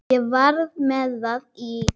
Ég var með það í